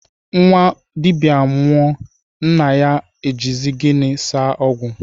Nnwa dibịa nwụọ, nna ya o jizi gịnị saa ọgwụ?